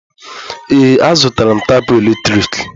Ee, azụtara m tapụ eletrik.